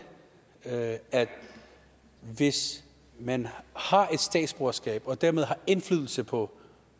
at hvis man har et statsborgerskab og dermed har indflydelse på